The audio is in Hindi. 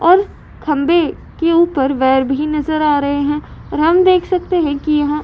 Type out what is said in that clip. और खम्बे की ऊपर वायर भी नजर आ रहे हैं और हम देख सकते है कि यहाँ --